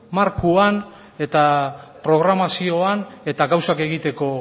markoan eta programazioan eta gauzak egiteko